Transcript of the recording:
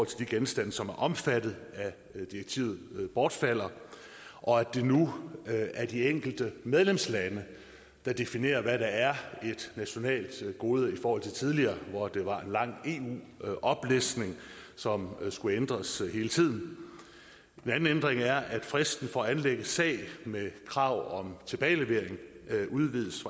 til de genstande som er omfattet af direktivet bortfalder og at det nu er de enkelte medlemslande der definerer hvad der er et nationalt gode i forhold til tidligere hvor det var en lang eu oplistning som skulle ændres hele tiden en anden ændring er at fristen for at anlægge sag med krav om tilbagelevering udvides